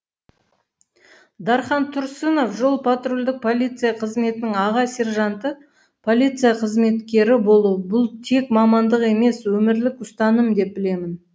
дархан тұрсынов жол патрульдік полиция қызметінің аға сержанты полиция қызметкері болу бұл тек мамандық емес өмірлік ұстаным деп білемін